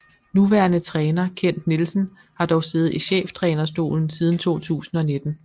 Nuværende træner Kent Nielsen har dog siddet i cheftrænerstolen siden 2019